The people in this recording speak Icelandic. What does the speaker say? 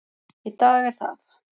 Í dag er það